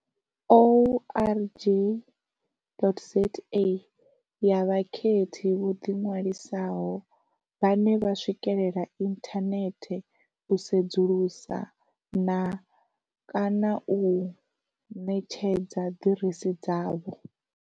org.za, ya vhakhethi vho ḓiṅwalisaho vhane vha swikela inthanethe u sedzulusa na kana u ṋetshedza ḓiresi dzavho.